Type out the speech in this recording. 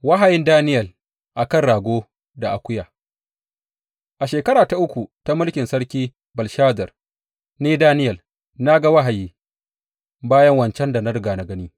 Wahayin Daniyel a kan rago da akuya A shekara ta uku ta mulkin sarki Belshazar, ni, Daniyel, na ga wahayi, bayan wancan da na riga gani.